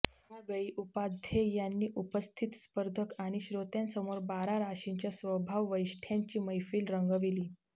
या वेळी उपाध्ये यांनी उपस्थित स्पर्धक आणि श्रोत्यांसमोर बारा राशींच्या स्वभाववैशिष्ठय़ांची मैफल रंगविली